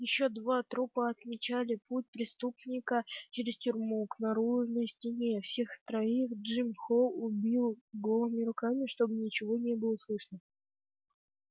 ещё два трупа отмечали путь преступника через тюрьму к наружной стене всех троих джим холл убил голыми руками чтобы ничего не было слышно